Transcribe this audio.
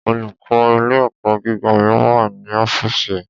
Olùkó ilé ẹ̀kọ́ gíga mi ma wà ní ọ́fìsì ẹ̀.